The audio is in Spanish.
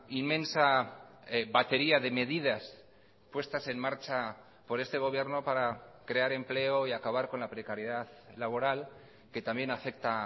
inmensa batería de medidas puestas en marcha por este gobierno para crear empleo y acabar con la precariedad laboral que también afecta